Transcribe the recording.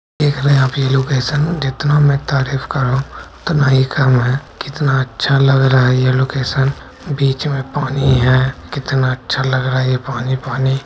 देख रहे आप ये लोकैशन जितना मै तारीफ कर रहा हूँ उतना ही कम है कितना अच्छा लग रहा है ये लोकैशन बीच में पानी है कितना अच्छा लग रहा है ये पानी पानी।